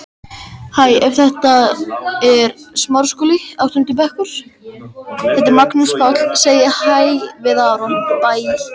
Anína, syngdu fyrir mig „Ísbjarnarblús“.